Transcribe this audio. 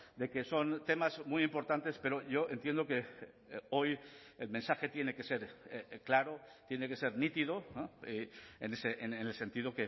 de que son temas muy importantes pero yo entiendo que hoy el mensaje tiene que ser claro tiene que ser nítido en el sentido